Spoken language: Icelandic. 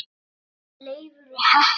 Hvaðan var Leifur heppni?